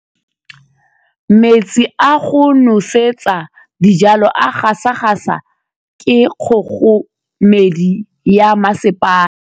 Metsi a go nosetsa dijalo a gasa gasa ke kgogomedi ya masepala.